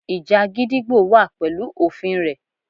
Ìjà gídígbò wà pẹ̀lú òfin rẹ̀.